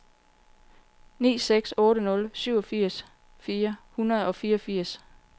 ni seks otte nul syvogfirs fire hundrede og fireogfirs